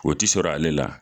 O ti sɔrɔ ale la.